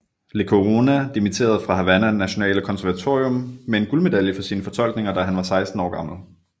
Lecuona dimitterede fra Havana Nationale Konservatorium med en guldmedalje for sine fortolkninger da han var seksten år gammel